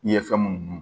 I ye fɛn mun dun